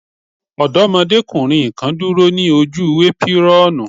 Ọdọ́mọdékùnrin kan dúró ní ojú épírọ́ọ̀nù.